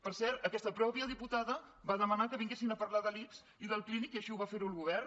per cert aquesta mateixa diputada va demanar que vinguessin a parlar de l’ics i del clínic i així ho va fer el govern